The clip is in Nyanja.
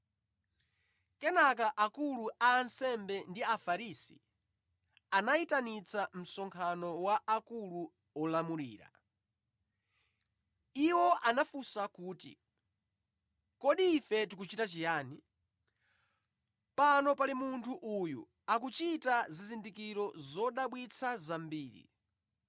Kenaka akulu a ansembe ndi Afarisi anayitanitsa msonkhano wa akulu olamulira. Iwo anafunsa kuti, “Kodi ife tikuchita chiyani? Pano pali munthu uyu akuchita zizindikiro zodabwitsa zambiri.